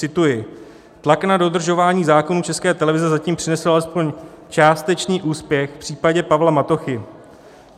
Cituji: "Tlak na dodržování zákonů České televize zatím přinesl alespoň částečný úspěch v případě Pavla Matochy.